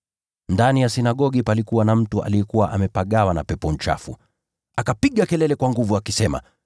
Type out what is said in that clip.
Ndani ya sinagogi palikuwa na mtu aliyekuwa amepagawa na pepo mchafu. Naye akapiga kelele kwa nguvu akisema,